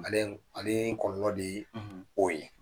Maliyɛnw ale kɔlɔlɔ de ye, , o ye.